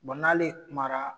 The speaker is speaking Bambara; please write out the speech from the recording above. Bon n'ale kumara